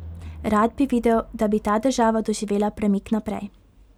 Rad bi videl, da bi ta država doživela premik naprej.